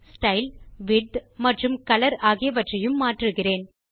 style width மற்றும் colour ஆகியவற்றையும் மாற்றுகிறேன்